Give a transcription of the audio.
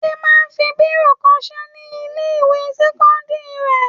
Adé máa ń fi bírò kọṣẹ́ ní ilé-ìwé sẹ́kọ́ndárì rẹ̀.